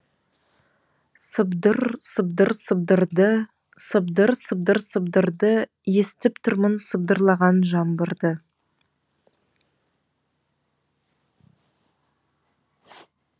сыбдыр сыбдыр сыбдырды сыбдыр сыбдыр сыбдырды естіп тұрмын сыбдырлаған жаңбырды